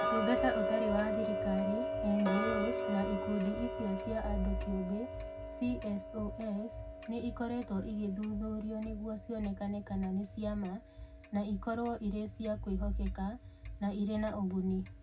Ũtungata Ũtarĩ wa Thirikari (NGOs) na Ikundi icio cia andũ kĩũmbe (CSOs), nĩ ikoretwo igĩthuthurio nĩguo cionekane kana nĩ cia ma, na ĩkorũo ĩrĩ cia kwĩhokeka, na ĩrĩ na ũguni.